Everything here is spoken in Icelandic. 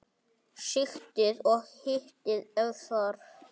Sigtið og hitið ef þarf.